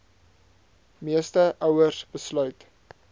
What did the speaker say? meeste ouers besluit